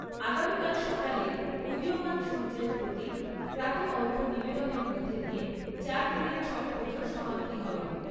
আগামীকাল সকালে উদীয়মান সূর্যের প্রতি প্রাতঃ অর্ঘ্য নিবেদনের মধ্যে দিয়ে চারদিনের ছট পুজোর সমাপ্তি হবে।